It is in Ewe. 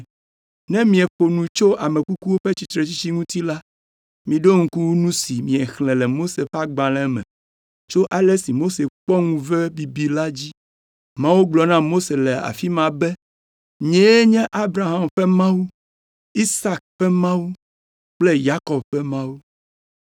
Ne mieƒo nu tso ame kukuwo ƒe tsitretsitsi ŋuti la, miɖo ŋku nu si miexlẽ le Mose ƒe Agbalẽ me tso ale si Mose kpɔ ŋuve bibi la dzi. Mawu gblɔ na Mose le afi ma be, ‘Nyee nye Abraham ƒe Mawu, Isak ƒe Mawu kple Yakob ƒe Mawu.’